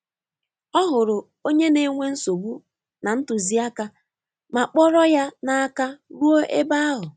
O hụrụ onye na-enwe nsogbu na ntụziaka ma kpọrọ ya n'aka ruo ebe ahụ.